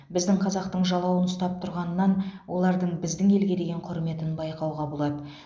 біздің қазақтың жалауын ұстап тұрғанынан олардың біздің елге деген құрметін байқауға болады